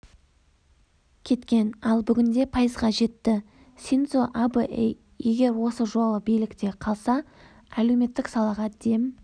кеткен ал бүгінде пайызға жетті синдзо абэ егер осы жолы билікте қалса әлеуметтік салаға дем